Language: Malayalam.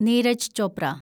നീരജ് ചോപ്ര